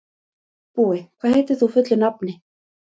Búi, hvað heitir þú fullu nafni?